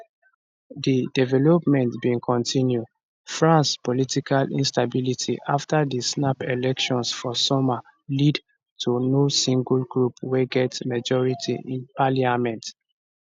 di development bin continue france political instability afta di snap elections for summer lead to no single group wey get majority in parliament